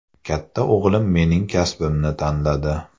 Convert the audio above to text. Katta o‘g‘lim mening kasbimni tanladi.